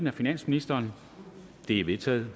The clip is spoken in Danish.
af finansministeren de er vedtaget